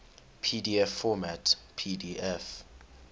pdf format pdf